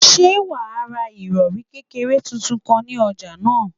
Ṣé o máa ra ìrọ̀rì kékeré tuntun kan ní ọjà náà?